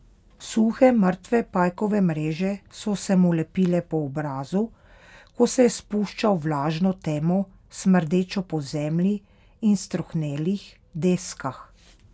Suhe, mrtve pajkove mreže so se mu lepile po obrazu, ko se je spuščal v vlažno temo, smrdečo po zemlji in strohnelih deskah.